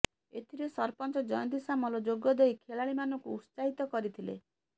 ଏଥିରେ ସରପଞ୍ଚ ଜୟନ୍ତୀ ସାମଲ ଯୋଗଦେଇ ଖେଳାଳୀ ମାନଙ୍କୁ ଉତ୍ସାହିତ କରିଥିଲେ